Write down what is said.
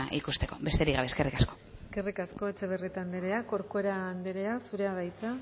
ikusteko besterik gabe eskerrik asko eskerrik asko etxebarrieta anderea corcuera anderea zurea da hitza